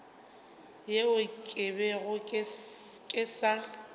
yeo ke bego ke sa